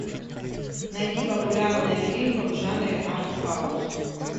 найди популярные фильмы в жанре артхаус